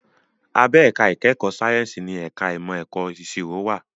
Abẹ́ ẹ̀ka ìkẹ́kọ̀ọ́ sáyẹ́ǹsì ni ẹ̀ka ìmọ̀ ẹ̀kọ́ ìṣirò wà